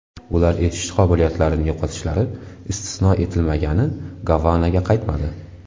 Ular eshitish qobiliyatlarini yo‘qotishlari istisno etilmagani Gavanaga qaytmadi.